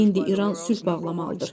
İndi İran sülh bağlamalıdır.